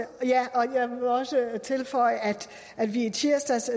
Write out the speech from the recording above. og jeg vil også tilføje at vi i tirsdags